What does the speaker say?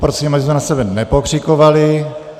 Poprosím, abychom na sebe nepokřikovali.